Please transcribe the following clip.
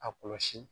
A kɔlɔsi